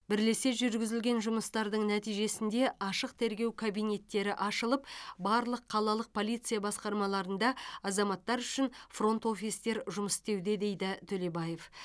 бірлесе жүргізілген жұмыстардың нәтижесінде ашық тергеу кабинеттері ашылып барлық қалалық полиция басқармаларында азаматтар үшін фронт офистер жұмыс істеуде дейді төлебаев